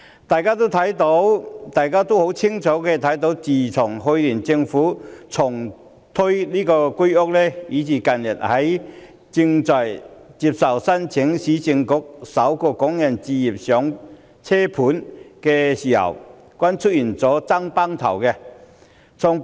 大家清楚看到，自從去年政府重推居者有其屋，以至近日接受申請的市區重建局"港人首置上車盤"均出現"爭崩頭"的情況。